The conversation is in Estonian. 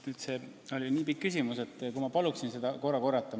Vaat see oli nii pikk küsimus, et ma palun seda korrata.